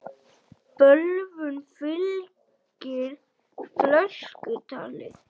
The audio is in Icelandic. Bölvun fylgir fölsku tali.